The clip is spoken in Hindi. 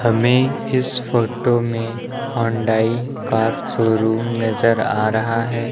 हमें इस फोटो में हुंडई कार शोरूम नजर आ रहा है।